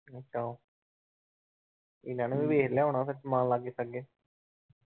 ਏਹਨਾ ਨੇ ਵੀ ਵੇਖ ਲਿਆ ਹੋਣਾ ਸਮਾਨ ਲਾਗੇ ਛਾਗੇ।